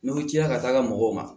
N'i ko tiya ka taa mɔgɔw ma